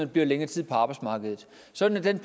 bliver længere tid på arbejdsmarkedet sådan at den